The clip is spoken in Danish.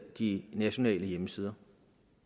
de nationale hjemmesider